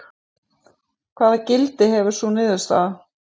En hvaða gildi hefði sú niðurstaða?